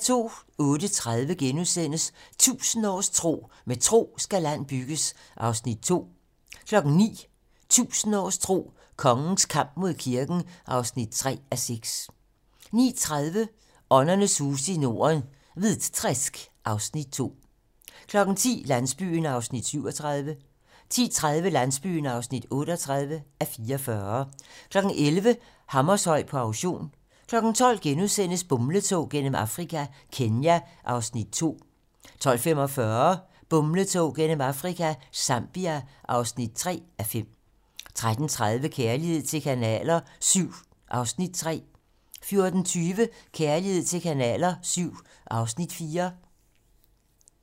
08:30: 1000 års tro: Med tro skal land bygges (2:6)* 09:00: 1000 års tro: Kongens kamp mod kirken (3:6) 09:30: Åndernes huse i Norden - Hvitträsk (Afs. 2) 10:00: Landsbyen (37:44) 10:30: Landsbyen (38:44) 11:00: Hammershøi på auktion 12:00: Bumletog gennem Afrika - Kenya (2:5)* 12:45: Bumletog gennem Afrika - Zambia (3:5) 13:30: Kærlighed til kanaler VII (Afs. 3) 14:20: Kærlighed til kanaler VII (Afs. 4)